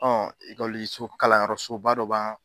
Ekɔliso kalanyɔrɔsoba dɔ ba